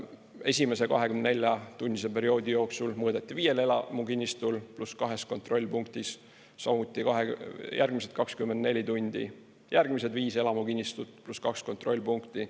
Esimese 24-tunnise perioodi jooksul mõõdeti viiel elamukinnistul pluss kahes kontrollpunktis, samuti järgmised 24 tundi järgmised viis elamukinnistut pluss kaks kontrollpunkti.